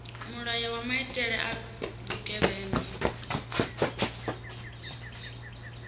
mulayo wa maitele a vhugevhenga